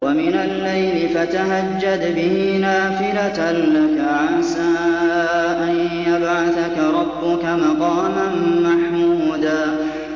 وَمِنَ اللَّيْلِ فَتَهَجَّدْ بِهِ نَافِلَةً لَّكَ عَسَىٰ أَن يَبْعَثَكَ رَبُّكَ مَقَامًا مَّحْمُودًا